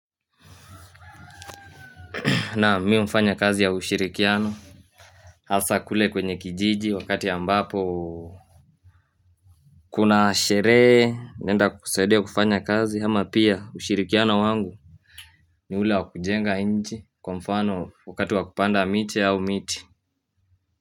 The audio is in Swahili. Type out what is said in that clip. Na mimi hufanya kazi ya ushirikiano hasa kule kwenye kijiji wakati ya ambapo Kuna sherehe nenda kusaidia kufanya kazi ama pia ushirikiano wangu ni ule wakujenga nchi kwa mfano wakatu wakupanda miche au miti.